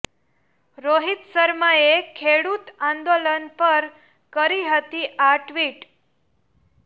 રોહિત શર્માએ ખેડૂત આંદોલન પર કરી હતી આ ટ્વીટ